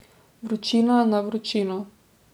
Vročina na vročino.